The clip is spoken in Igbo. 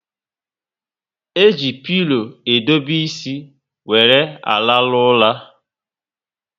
E ji pilo edobe ísì wéré arahu ura